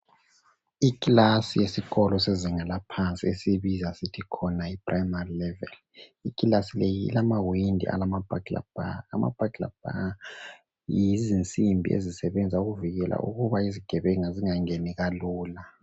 Ikilasi yesikolo sezinga laphansi esiyibza sithi khona yiprimary level ikilasi le ilamawindi alama burglar bar, ama burglar bar yizinsimbi ezisebenza ukuvikela ukuba izigebenga zingangeni kalula.